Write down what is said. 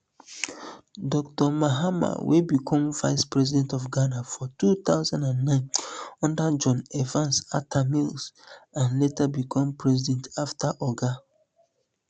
dr mahama wey become vice president of ghana for two thousand and nine under john evans atta mills and later become president afta oga